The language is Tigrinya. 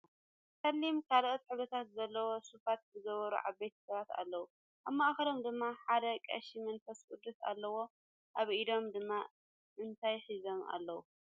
ፀለም ካልኣት ሕብርታት ዘለዎም ሱፋት ዝገበሩ ዓበይቲ ሰባት ኣለው ኣብ ማእከሎም ድማ ሓደ ቀሺ መንፈስ ቅዱስ ኣለው ኣብ ኢዶም ድማ እንታይ ሒዞም ኣለው?